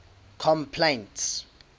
complaints